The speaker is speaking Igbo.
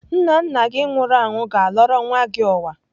Nna nna gị nwụrụ anwụ ga-alọrọ nwa gị ụwa.